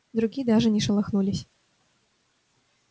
другие даже не шелохнулись